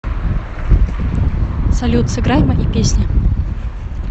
салют сыграй мои песни